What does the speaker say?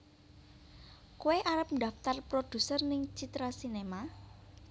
Koe arep ndaftar produser ning Citra Sinema?